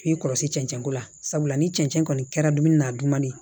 K'i kɔlɔsi cɛncɛn ko la sabula ni cɛncɛn kɔni kɛra dumuni na dumuni ye